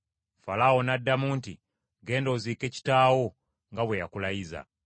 Falaawo n’addamu nti, “Genda oziike kitaawo nga bwe yakulayiza.”